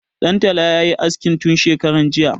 Ɗan tala ya yi aske tun shekaran jiya.